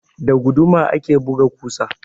Da guduma ake buga ƙusa.